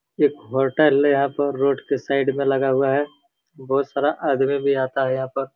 एक होटल है यहाँ पर रोड के साइड में लगा हुआ है बहोत सारा आदमी भी आता है यहाँ पर।